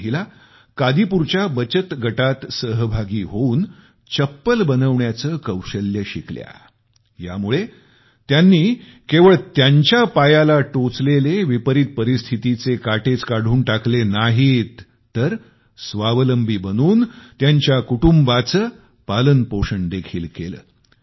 या महिला कादीपूरच्या बचत गटात सहभागी होऊन चप्पल बनवण्याचे कौशल्य शिकल्या यामुळे त्यांनी केवळ त्यांच्या पायाला टोचलेले हतबलतेचे काटेच काढून टाकले नाहीत तर परंतु स्वावलंबी बनून त्यांच्या कुटुंबाचे पालनपोषण देखील केले